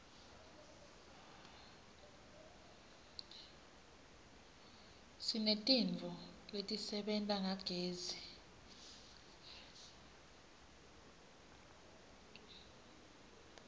sinetintfo letisebenta ngagezi